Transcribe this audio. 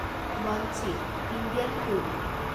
বঞ্চি (Indian flute)